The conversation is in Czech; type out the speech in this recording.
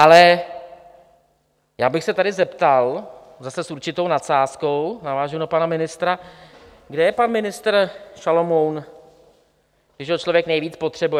Ale já bych se tady zeptal zase s určitou nadsázkou, navážu na pana ministra - kde je pan ministr Šalomoun, když ho člověk nejvíc potřebuje?